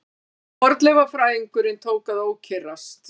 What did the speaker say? Fornleifafræðingurinn tók að ókyrrast.